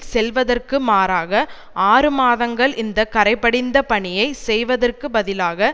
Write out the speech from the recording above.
செல்வதற்கு மாறாக ஆறு மாதங்கள் இந்த கறைபடிந்த பணியை செய்வதற்கு பதிலாக